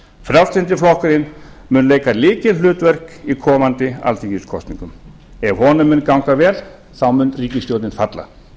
frjálslyndi flokkurinn mun leika lykilhlutverk í komandi alþingiskosningum ef honum mun ganga vel mun ríkisstjórnin falla